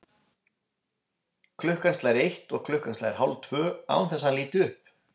Klukkan slær eitt og klukkan slær hálftvö, án þess hann líti upp.